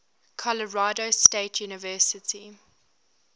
colorado state university